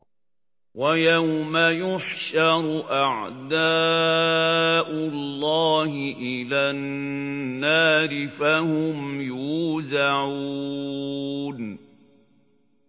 وَيَوْمَ يُحْشَرُ أَعْدَاءُ اللَّهِ إِلَى النَّارِ فَهُمْ يُوزَعُونَ